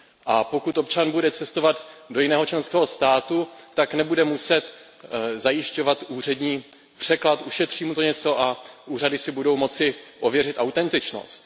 A pokud občan bude cestovat do jiného členského státu, tak nebude muset zajišťovat úřední překlad, ušetří mu to něco a úřady si budou moci ověřit autentičnost.